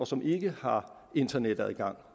som ikke har internetadgang